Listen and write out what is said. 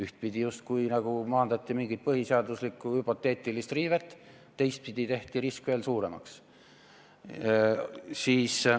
Ühtpidi justkui maandati mingit põhiseaduslikku hüpoteetilist riivet, teistpidi tehti risk veel suuremaks.